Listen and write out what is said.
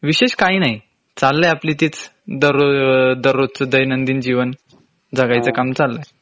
विशेष काही नाही चाललंय आपली तीच दरर् रोजच दैनंदिन जीवन.जगायचं काम चाललय